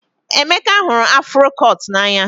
Emeka hụrụ afro cut n'anya